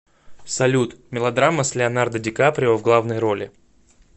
салют мелодрама с леонардо ди каприо в главной роли